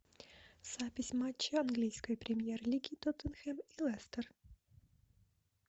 запись матча английской премьер лиги тоттенхэм и лестер